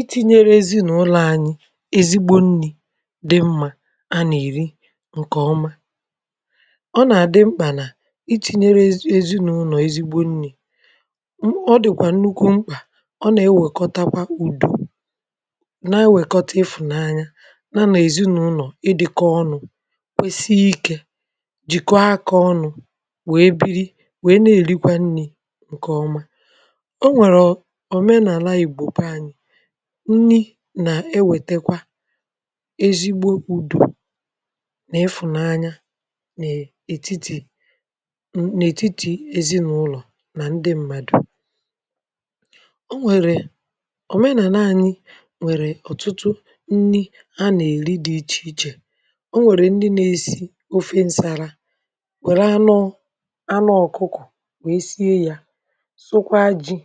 Itinyere ezinaụlọ̀ anyị ezigbo nni dị mma a na-eri nke ọma. Ọ na-adị mkpa na itinyere ezi ezinụlọ ezigbo nri. M ọ dịkwa nnukwu mkpa. Ọ na-ewekọtakwa udo na-ewekọta ịfụnanya ya na ezinụlọ ịdịkọ ọnụ kwusii ike, jikọọ aka ọnụ wee biri wee na-erikwa nni nke ọma. O nwere omenaala Igbo be anyị nni na-ewetakwa ezigbo udo na ịfụnanya n'etiti n n'etiti ezinụlọ na ndị mmadụ. O nwere omenaala anyị nwere ọtụtụ nni a na-eri dị iche iche. O nwere ndị na-eai ofe nsala were anụ anụ ọkụkọ wee sie ya sụkwaa ji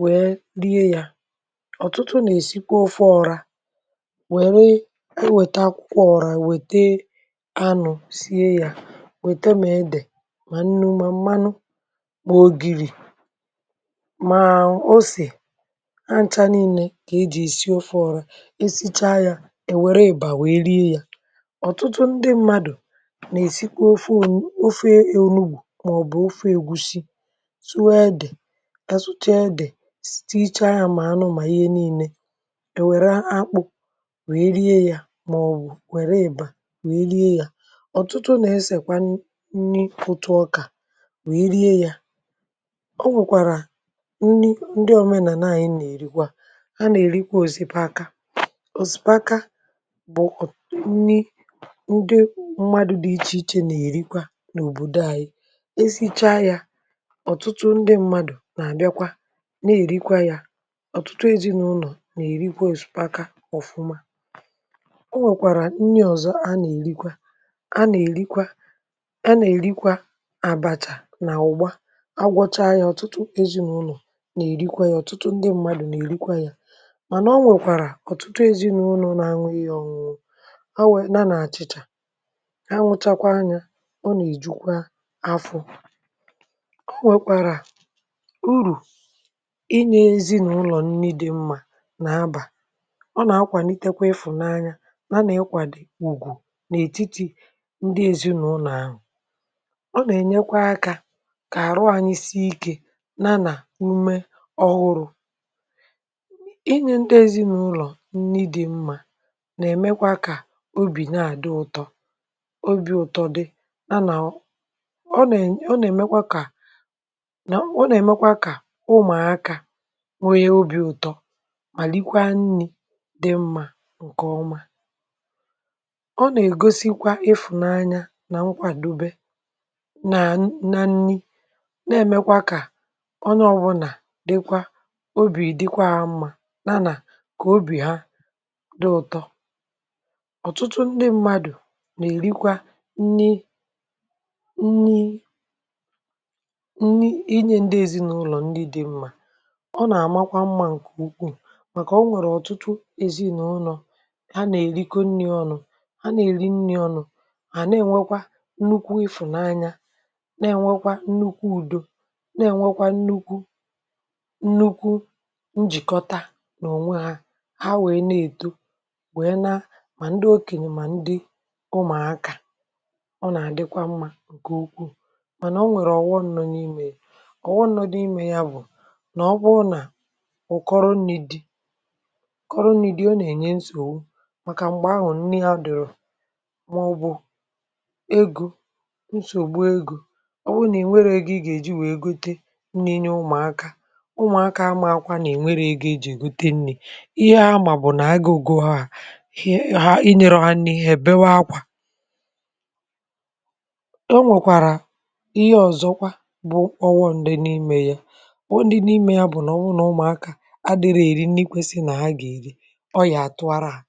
wee rie ya. Ọtụtụ na-esikwa ofe ọ̀rá, welụ eweta akwụkwọ ọ̀rá e wete anụ sie ya, wete ma ede ma nnu ma mmanụ ma ogiri ma ose, ha ncha niile ka e ji eai ofe ọ̀rá. E sichaa ya, e were ị̀bà wee rie ya. Ọtụtụ ndị mmadụ na-esikwa ofe onu ofe onugbu maọbụ ofe egwushi. Suo ede ha suchaa ede s tichaa ya ma anụ ma ihe niile. E were akpụ wee rie ya maọbụ were ị́bà wee rie ya. Ọtụtụ na-esekwa n nni ntụ ọka wee rie ya. O nwekwara nni ndị omenala anyị na-erikwa. Ha na-erikwa osipaka. Osipaka bụ nni ndị mmadụ dị iche iche na-erikwa n'obodo ayị. E sichaa ya, ọtụtụ ndị mmadụ na-abịakwa na-erikwa ya. Ọtụtụ ezinụlọ na-erikwa osipaka ọfụma. O nwekwara nni ọzọ a na-erikwa a na-erikwa a na-erikwa abacha na ụ̀gbá. A gwọchaa ya ọtụtụ ezinụlọ na-erikwa ya ọtụtụ ndị mmadụ na-erikwa ya. Mana o nwekwara ọtụtụ ezinụlọ na-aṅụ ihe ọṅụṅụ ha nwe ya na achịcha. Ha nwụchakwaa ya, ọ na-ejukwa afọ. O nwekwara uru inye ezinụlọ nni dị mma na aba. Ọ na-akwanitekwa ịfụnanya ya na ịkwado ùgwù n'etiti ndị ezinụlọ ahụ. Ọ na-enyekwa aka ka ahụ anyị sii ike ya na umé ọhụrụ. Inye ndị ezinụlọ nni dị mma na-emekwa ka obi na-adị ụtọ obi ụtọ dị ya na o ọ ne ọ na-emekwa ka na ọ na-emekwa ka ụmụaka nwee obi ụtọ ma rikwaa nni dị mma nke ọma. Ọ na-egosikwa ịfụnanya na nkwadobe na na nni na-emekwa ka onye ọwụna dịkwa obi dịkwa ha mma ya na ka obi ha dị ụtọ. Ọtụtụ ndị mmadụ na-erikwa nni nni nni ị nye ndị ezinụlọ nni dị mma. Ọ na-amakwa mma nke ukwuu maka o nwere ọtụtụ ezinụlọ ha na-erikọ nni ọnụ ha na-eri nni ọnụ, ha na-enwekwa nnukwu ịfụnanya na-enwekwa nnukwu udo na-enwekwa nnukwu nnukwu njikọta n'onwe ha ha wee na-eto wee na ma ndị okenye ma ndị ụmụaka, ọ na-adịkwa mma nke ukwuu mana o nwere ọ wọm nọ n'ime e. Ọwọm nọ n'ime ya bụ ma ọ bụrụ na ụkọrọ nni dị. Ụ̀kọ́rọ́ nni dị ọ na-enye nsogbu maka mgbe anwụ nni afịrọ. Maọbụ ego nsogbu ego. Ọ wụrụ na i nweghị ego ị ga-eji wee gote nni nye ụmụaka, ụmụaka amaakwa na e nwerọ ego e ji egote nni. Ihe ha ma bụ na agụụ gụọ ha, i nyerọ ha nni ha ebewe ákwá. O nwekwara ihe ọzọkwa bụ ọwọm dị n'ime ya. Ọwọm dị n'ime ya bụ na ọ bụrụ na ụmụaka adịrọ eri nni kwesịị na a ga-eri, ọ́yà a tụara ha.